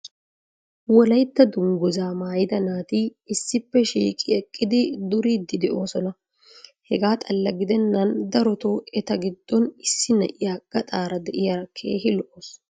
wolaytta danguzzaa maayida naati issippe shiiqi eqqidi duriidi doosona. hegaa xalla gidennan darotoo eta gidon issi na'iya gaxaara diyaara keehi lo'awusu.